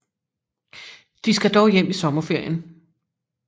De skal dog hjem i sommerferien